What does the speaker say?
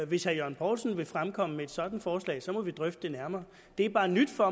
hvis herre jørgen poulsen vil fremkomme med et sådant forslag må vi drøfte det nærmere det er bare nyt for